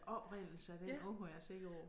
Oprindelse af den ord er jeg sikker på